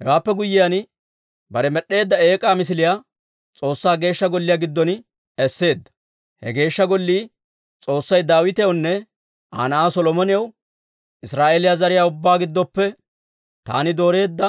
Hewaappe guyyiyaan, bare med'd'eedda eek'aa misiliyaa S'oossaa Geeshsha Golliyaa giddon esseedda. He Geeshsha Gollii, S'oossay Daawitewunne Aa na'aa Solomonaw, «Israa'eeliyaa zariyaa ubbaa giddoppe taani dooreedda